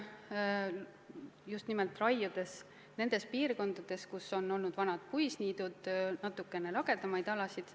Seda just nimelt raiudes nendes piirkondades, kus on olnud vanad puisniidud, ja tekitades natukene lagedamaid alasid.